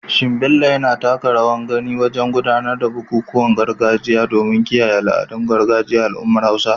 Is Bello actively participating in traditional rites to preserve the cultural heritage of the Hausa community?